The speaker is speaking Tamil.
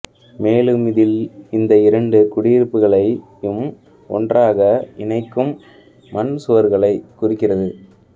மேலும் இதில் இந்த இரண்டு குடியிருப்புகளையும் ஒன்றாக இணைக்கும் மண் சுவர்களைக் குறிக்கிறது